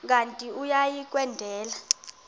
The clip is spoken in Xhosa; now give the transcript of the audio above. kanti uia kwendela